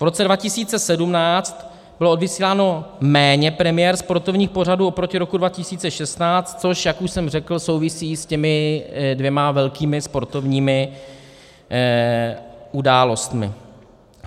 V roce 2017 bylo odvysíláno méně premiér sportovních pořadů oproti roku 2016, což, jak už jsem řekl, souvisí s těmi dvěma velkými sportovními událostmi.